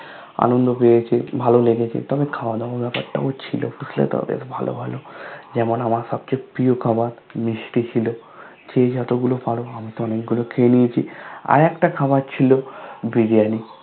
আনন্দ পেয়েছে ভালো লেগেছে তবে খাওয়াদাওয়ার ব্যাপারটাও ছিল বুঝলে তো বেশ ভালো ভালো যেমন আমার সবচেয়ে প্রিয় খাবার মিষ্টি ছিল যে যতগুলো পারো আমি তো অনেকগুলো খেয়ে নিয়েছি আরেকটা খাবার ছিল বিরিয়ানি